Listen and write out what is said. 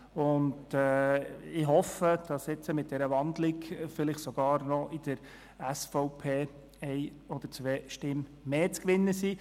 Ich hoffe, dass mit dieser Wandlung vielleicht sogar in der SVP eine oder zwei zusätzliche Stimmen zu gewinnen sind.